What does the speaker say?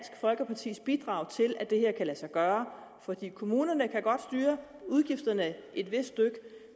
folkepartis bidrag til at det her kan lade sig gøre for kommunerne kan godt styre udgifterne et vist stykke